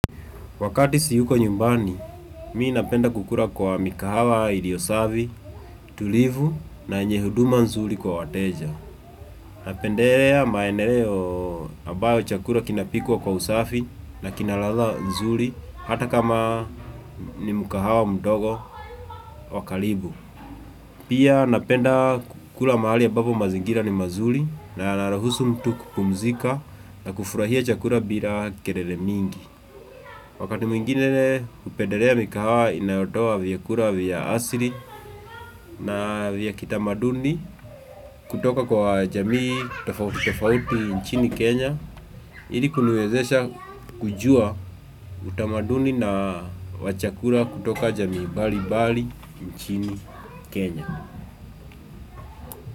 Wakati siyuko nyumbani, mimi napenda kukula kwa mikahawa iliyo safi, tulivu na yenye huduma nzuri kwa wateja. Napendelea maeneo ambayo chakula kinapikwa kwa usafi na kina ladha nzuri hata kama ni mkahawa mdogo wa karibu. Pia napenda kukula mahali ambabo mazingira ni mazuri na yanaruhusu mtu kupumzika na kufurahia chakula bila kelele mingi. Wakati mwingine kupedelea mika hawa inayotoa vyakula vya asili na vya kitamaduni kutoka kwa jamii tofauti nchini Kenya. Ili kuniwezesha kujua utamaduni na wa chakula kutoka jamii mbalimbali nchini Kenya.